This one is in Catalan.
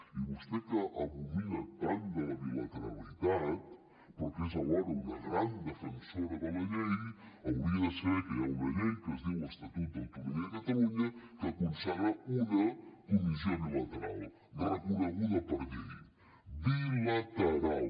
i vostè que abomina tant de la bilateralitat però que és alhora una gran defensora de la llei hauria de saber que hi ha una llei que es diu estatut d’autonomia de catalunya que consagra una comissió bilateral reconeguda per llei bilateral